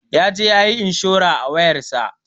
Yaje yayi inshurar a wayar sa.